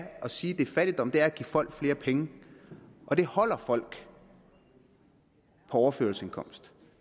at sige at det er fattigdom er at give folk flere penge og det holder folk på overførselsindkomster